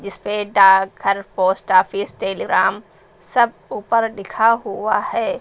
इसपे डाक घर पोस्ट ऑफिस टेलीग्राम सब ऊपर लिखा हुआ है।